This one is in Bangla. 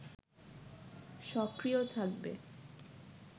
সক্রিয় থাকবে